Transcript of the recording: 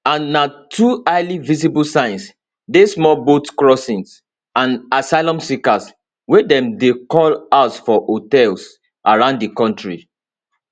and na two highly visible signs dey small boat crossings and asylum seekers wey dem dey house for hotels around di kontri